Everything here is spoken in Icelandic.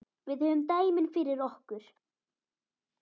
Við höfum dæmin fyrir okkur.